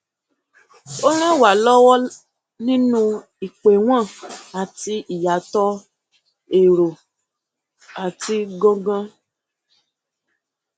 ó ràn wá lọwọ nínú ìpéwọn àti ìyàtọ erò àti gangan